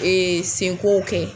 Ee senko kɛ.